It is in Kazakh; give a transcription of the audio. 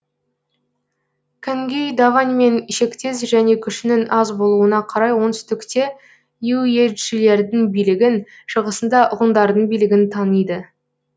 кангюй даваньмен шектес және күшінің аз болуына қарай оңтүстікте юечжилердің билігін шығысында ғұндардың билігін таниды